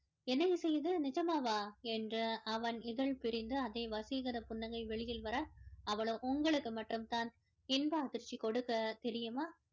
என்ன இசை இது நிஜமாவா என்று அவன் இதழ் பிரிந்து அதே வசீகரப் புன்னகை வெளியில் வர அவளோ உங்களுக்கு மட்டும் தான் இன்ப அதிர்ச்சி கொடுக்க தெரியுமா